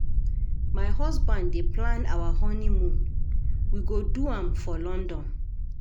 My husband dey plan our honeymoon, we go do am for London.